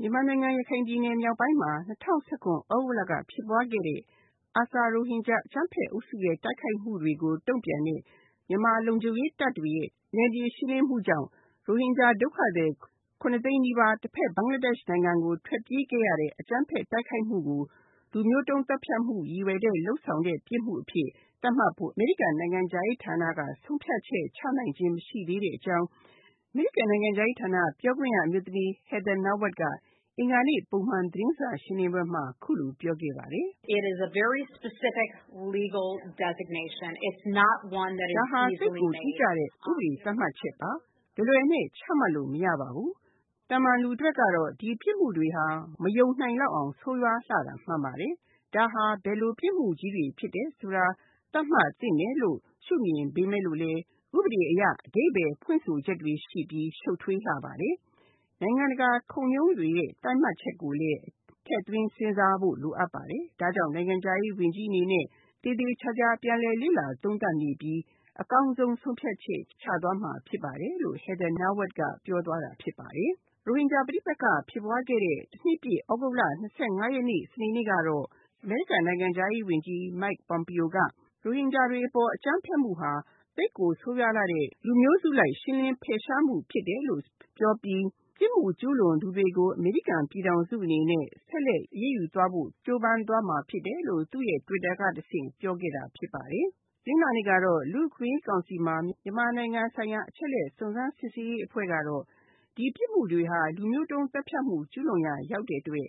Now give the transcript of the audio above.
မြန်မာနိုင်ငံ ရခိုင်ပြည်နယ်မြောက်ပိုင်းမှာ ၂၀၁၇ သြဂုတ်လက ဖြစ်ပွားခဲ့တဲ့ ARSA ရိုဟင်ဂျာ အကြမ်းဖက်အုပ်စုရဲ့ တိုက်ခိုက်မှုတွေကိုတုံ့ပြန်တဲ့ မြန်မာလုံခြုံရေးတပ်တွေရဲ့ နယ်မြေရှင်းလင်းမှုကြောင့် ရိုဟင်ဂျာဒုက္ခသည် ၇ သိန်းနီးပါး တဖက် ဘင်္ဂလားဒေ့ရှ်နိုင်ငံကို ထွက်ပြေးခဲ့ရတဲ့ အကြမ်းဖက်တိုက်ခိုက်မှုကို လူမျိုးတုံးသတ်ဖြတ်မှုရည်ရွယ်တဲ့ ပြစ်မှုအဖြစ်သတ်မှတ်ဖို့ အမေရိကန်နိုင်ငံခြားရေးဌာနက ဆုံးဖြတ်ချက်ချနိုင်သေးတာ မရှိသေးတဲ့အကြောင်း အမေရိကန်နိုင်ငံခြားရေးဌာန ပြောခွင့်ရအမျိုးသမီး Heather Nauert က အင်္ဂါနေ့ ပုံမှန်သတင်းစာရှင်းလင်းပွဲမှာ အခုလိုပြောခဲ့ပါတယ်။ ဒါဟာ သိပ်ကိုတိကျတဲ့ ဥပဒေသတ်မှတ်ချက်ပါ။ လွယ်လွယ်နဲ့ ချမှတ်လို့ မရပါဘူး။ သာမန်လူအတွက်ကတော့ ဒီပြစ်မှုတွေဟာ မယုံနိုင်လောက်အောငဆိုးရွားတာမှန်ပါတယ်။ ဒါဟာ ဘယ်လိုပြစ်မှုကြီးတွေဖြစ်တယ်ဆိုတာ သတ်မှတ်သင့်တယ်လို့ ရှု့မြင်ပေမယ့်လို့ ဥပဒေအရ အဓိပ္ပါယ်ဖွင့်ဆိုချက်တွေရှိပြီး ရှုပ်ထွေးလှပါတယ်။ နိုင်ငံတကာ ခုံရုံးတွေရဲ့ သတ်မှတ်ချက်ကိုလည်း ထည့်သွင်းစဉ်းစားဖို့လိုပါတယ်။ ဒါကြောင့်နိုင်ငံခြားရေး ဝန်ကြီးအနေနဲ့ သေသေချာချာပြန်လည်လေ့လာသုံးသပ်နေပြီး အကောင်းဆုံး ဆုံးဖြတ်ချက်ချသွားမှာဖြစ်ပါတယ်လို့ Heather Nauert ကပြောသွားတာဖြစ်ပါတယ်။ ရိုဟင်ဂျာပဋိပက္ခဖြစ်ပွားခဲ့တဲ့ ၁ နှစ်ပြည့် သြဂုတ်လ ၂၅ ရက်နေ့ စနေနေ့ကတော့ အမေရိကန်နိုင်ငံခြားရေးဝန်ကြီး Mike Pompeo က ရိုဟင်ဂျာတွေအပေါ်အကြမ်းဖက်မှုဟာ သိပ်ကိုဆိုးဝါးလှတဲ့ လူမျိုးစုလိုက် ရှင်းလင်းဖယ်ရှားမှုဖြစ်တယ်လို့ ပြောပြီး ပြစ်မှုကျူးလွန်သူတွေကို အမေရိကန်ပြည်ထောင်စုအနေအနဲ့ ဆက်လက်အရေးယူဖို့ ကြိုးပမ်းသွားမှာဖြစ်တယ်လို့ သူ့ Twitter ကတဆင့်ပြောခဲ့တာဖြစ်ပါတယ်။ တနင်္လာနေ့ကတော့ လူ့အခွင့်အရေးကောင်စီမှာ မြန်မာနိုင်ငံဆိုင်ရာ အချက်အလက် စုံစမ်းစစ်ဆေးရေးအဖွဲ့ကတော့ ဒီပြစ်မှုတွေဟာ လူမျိုးတုန်းသတ်ဖြတ်မှု ကျူးလွန်ရာရောက်တဲ့အတွက်